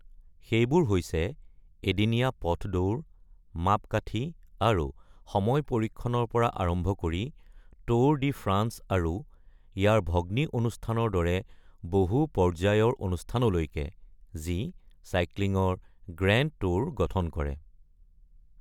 সেইবোৰ এদিনীয়া পথ দৌৰ, মাপকাঠী, আৰু সময় পৰীক্ষণৰ পৰা আৰম্ভ কৰি ট্যুৰ ডি ফ্ৰান্স আৰু ইয়াৰ ভগ্নী অনুষ্ঠানৰ দৰে বহু-পৰ্যায়ৰ অনুষ্ঠানলৈকে, যি চাইক্লিংৰ গ্ৰেণ্ড ট্যুৰ গঠন কৰে।